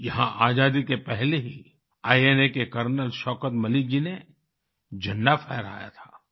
यहाँ आज़ादी के पहले ही इना के कर्नल शौकत मलिक जी ने झंडा फहराया था